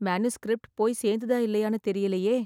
Manuscript போயி சேர்ந்துதா இல்லையான்னு தெரியலையே!